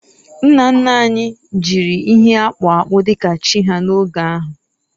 nna nna anyi jiri ihe akpu akpu dika chi ha n'oge ahu